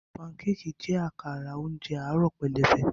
Pancakes jẹ́ àkàrà oúnjẹ àárọ̀ pẹlẹbẹ.